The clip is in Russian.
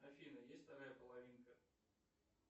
афина есть вторая половинка